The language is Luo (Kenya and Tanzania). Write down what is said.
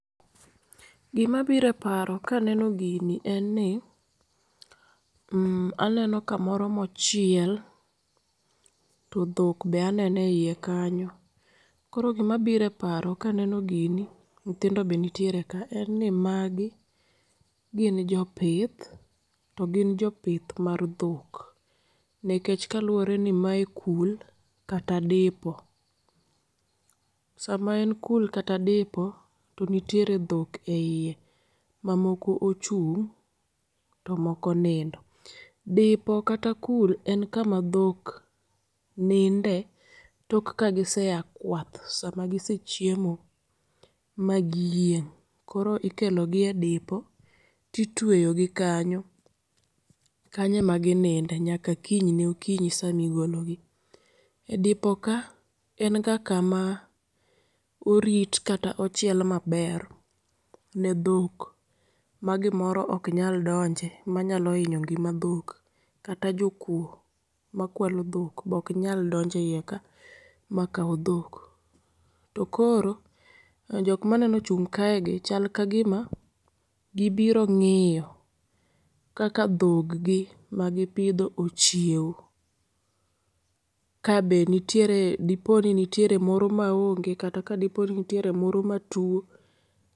Gima biro eparo kaneno gini en ni, mm aneno kamoro mochiel to dhok be anene eiye kanyo. Koro gima biro eparo kaneno gini nyithindo be nitiere ka en ni magi gin jopith to gin jopith mar dhok. Nikech kaluore ni mae kul kata dipo. Sama en kul kata dipo to nitiere dhok eiye mamoko ochung' tomoko onindo. Dipo kata kul en kama dhok ninde tok kagisea kwath, sama gisechiemo ma giyieng' koro ikelogie dipo titweyogi kanyo. Kanyo ema gi ninde nyaka kinyne okinyi sama igologi.E dipo ka enga kama orit kata ochiel maber ne dhok ma gimoro ok nyal donje manyalo hinyo ngima dhok. Kata jokuo makwalo dhok be ok nyalo donje eiyeka makaw dhok. Tokoro jok maneno ochung' kaegi chal kagima gibiro ng'iyo kaka dhoggi magi pidho ochiewo. Ka be nitiere diponi nitiere moro maonge kata kadiponi nitiere moro matuo